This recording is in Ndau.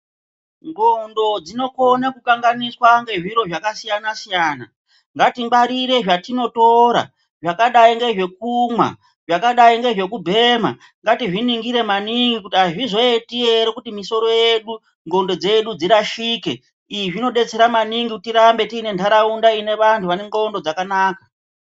Ndxondo dzinokona kukanganiswa ngezviro zvakasiyana-siyana. Ngatingwarire zvatinotora zvakadai ngezve kumwa zvakadai ngezve kubhema. Ngatizviningire maningi kuti hazvizoneti ere kuti misoro yedu ndxondo dzedu dzirashike. Izvi zvinobetsera maningi kuti tirambe tine nharaunda ine vantu vane ndxondo dzakanaka.